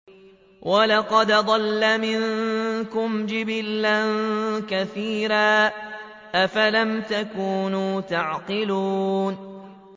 وَلَقَدْ أَضَلَّ مِنكُمْ جِبِلًّا كَثِيرًا ۖ أَفَلَمْ تَكُونُوا تَعْقِلُونَ